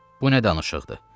Bu nə danışıqdır?